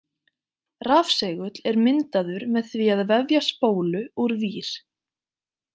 Rafsegull er myndaður með því að vefja spólu úr vír.